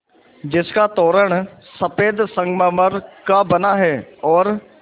जिसका तोरण सफ़ेद संगमरमर का बना है और